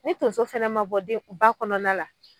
Ni tonso fɛnɛ ma bɔ den, ba kɔnɔna la